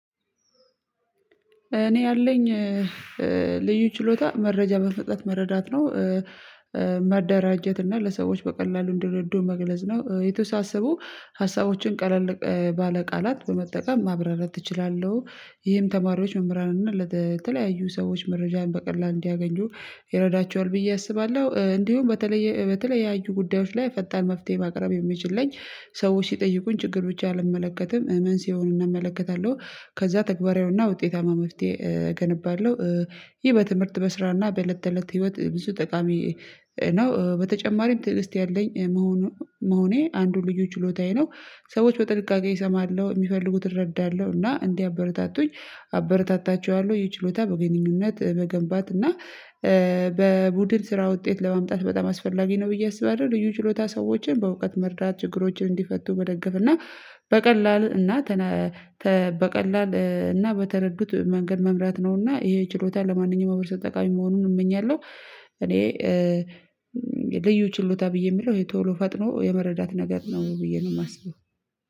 እኔ ያለኝ ልዩ ችሎታ መረጃ በፍጥነት መረዳት ነው። እና ለሰዎች በቀላሉ እንድረዱ መግለጽ ነው። የተወሳሰቡ ሀሳቦችን ቀለል ባለ ቃላት በመጠቀም ማብራራት እችላለሁ ይህም ተማሪዎች መምህራን እና ለተለያዩ ሰዎች መረጃን በቀላሉ እንዲያገኙ ይረዳቸዋል ብዬ አስባለሁ። እንዲሁም በተለየ በተለያዩ ጉዳዮች ላይ ፈጣን መፍትሄ ማቅረብ የሚችለኝ ሰዎች ሲጠይቁኝ ችግሮች አልመለከትም ምን ሲሆን እናመለክታለሁ ከዛ ተግባራዊውና ውጤታማ መፍትሄ አገነባለው። ይህ በትምህርት በስራና በእለት እለት ህይወት ብዙ ጠቃሚ ነው። በተጨማሪም ትዕግስት ያለኝ መሆኔ አንዱን ልዩ ችሎታዬ ነው። ሰዎች በጥንቃቄ እሰማለሁ የሚፈልጉትን እረዳለሁ እና እንዲያበረታቱኝ አበረታታቸዋለሁ ይህ ችሎታ በግንኙነት መገንባት እና በቡድን ስራ ውጤት ለማምጣት በጣም አስፈላጊ ነው ብዬ አስባለው። ልዩ ችሎታ ሰዎችን በእውቀት መርዳት ችግሮችን እንዲፈቱ መደገፍ እና በቀላል እና በቀላል እና በተረዱት መንገድ መምራት ነውና ይሄ ችሎታ ለማንኛውም ማህበረሰብ ተጠቃሚ መሆኑን እመኛለሁ። እኔ ልዩ ችሎታ ብዬ የምለው የቶሎ ፈጥኖ የመረዳት ነገር ነው ብዬ ነው የማስበው።